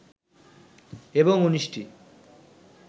এবং ১৯ টি